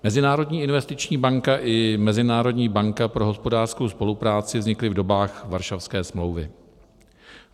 Mezinárodní investiční banka i Mezinárodní banka pro hospodářskou spolupráci vznikly v dobách Varšavské smlouvy.